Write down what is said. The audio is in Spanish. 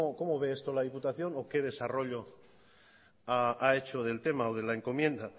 cómo ve esto la diputación o qué desarrollo ha hecho del tema o de la encomienda